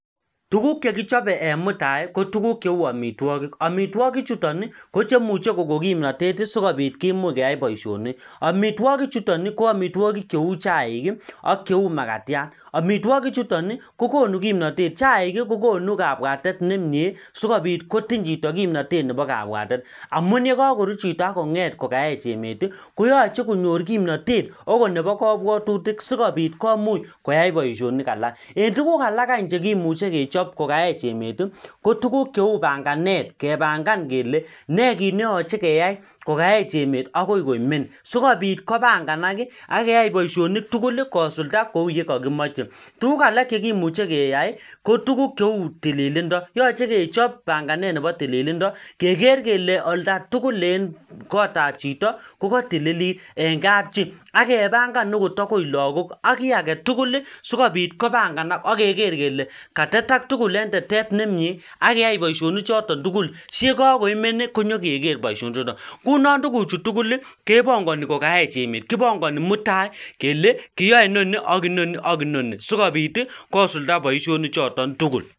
tuguk chekichope en mutai kotuguk cheu amitwokik amitwokik chuton ii ko chemu kogon kimnatet ii sikopit kimuch keya boishonik amitwoki chuton ii ko amitwokik cheu chaik ak cheu magatiat amitwikichuton ii kogonu kimnatet chaik ii kogonu kabwatet nemie sikopit kotiny chito kimnatet nepo kabwatet amun yekoruu chito ak konget kokaech emet ii koyoche konyor kimnatet okot nepo kobwotutik sikopit komuch koyai boishonik alak en tugk alak any chekimuche kechop kokaech emet ii ko tuguk panganet kepangan kele nekit neyoche keyai kokaech akoi koimen sikopit kobanganak ii ak keyai boishonik tugul ii kosulda kou yekokimoche tuguk alak chekimuche keyai kotuguk cheu tililindo yoche kechop panganet nepo tililindo keger kele oldatugul en kotap chito ko kotililit en kapchi akepangan agot agoi lagok ak kii aketuguli sikopit kobanganak okeker kele katetak tugul en tetet nemie ak keyai boishonichoton tugul si yekokoimen nyokeker boishoni chuton ngunon tuguchu tuguli kepongoni kokaech emet kipongoni mutai kele kiyoe inoni ak inoni ak inoni sikopit kosulda boishoni choton tuguk